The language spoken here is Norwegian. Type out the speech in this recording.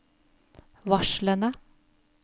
varslene